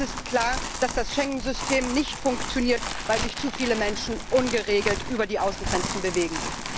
Es ist klar, dass das Schengen System nicht funktioniert, weil sich zu viele Menschen ungeregelt über die Außengrenzen bewegen.